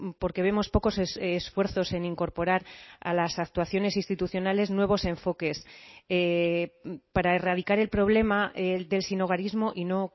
porque vemos pocos esfuerzos en incorporar a las actuaciones institucionales nuevos enfoques para erradicar el problema del sinhogarismo y no